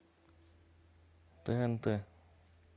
тнт